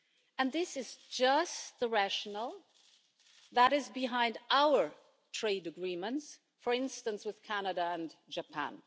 And this is just the rationale that is behind our trade agreements, for instance with Canada and Japan.